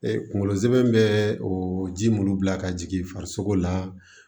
kungolo zɛmɛ bɛ o ji mun bila ka jigin farisoko la